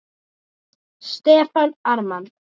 Stefán Ármann.